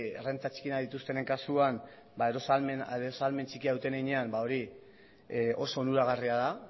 errenta txikienak dituztenen kasuan ba eros ahalmen txikia duten heinean ba hori oso onuragarria da